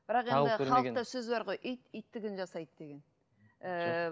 бірақ енді халықта сөз бар ғой ит иттігін жасайды деген ііі